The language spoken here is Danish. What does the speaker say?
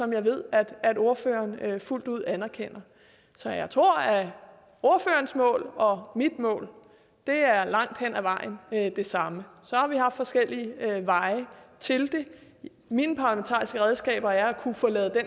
jeg ved at ordføreren fuldt ud anerkender så jeg tror at ordførerens mål og mit mål langt hen ad vejen er det samme så har vi haft forskellige veje til det mine parlamentariske redskaber er at kunne få lavet